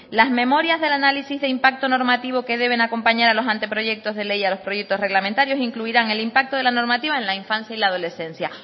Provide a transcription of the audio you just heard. las memorias del análisis de impacto normativo que deben acompañar a los anteproyectos de ley y a los proyectos reglamentarios incluirán el impacto de la normativa en la infancia y la adolescencia